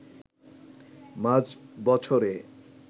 মাঝ বছরে